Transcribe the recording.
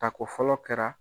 Tako fɔlɔ kɛra.